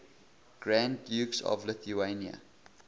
grand dukes of lithuania